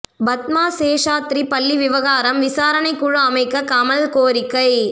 பத்மா சேஷாத்ரி பள்ளி விவகாரம் விசாரணை குழு அமைக்க கமல் கோரிக்கை